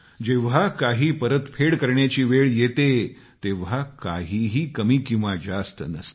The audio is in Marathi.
जेव्हा काही परतफेड करण्याची वेळ येते तेव्हा काहीही कमी किंवा जास्त नसते